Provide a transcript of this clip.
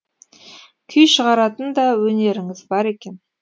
күй шығаратын да өнеріңіз бар екен